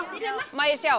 má ég sjá